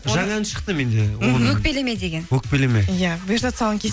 жаңа ән шықты менде мхм өкпелеме деген өкпелеме иә бұйырса тұсауын